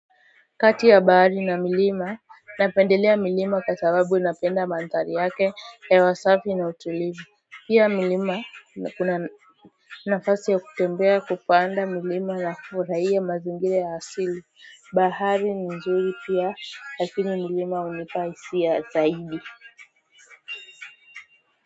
Kati ya bahari na milima napendelea milima kwa sababu napenda manthari yake ya wasafi na utulivu pia milima na kuna nafasi ya kutembea kupanda milima na kufurahiya mazingira ya asili Bahari ni nzuri pia lakini milima hunipa hisia zaidi.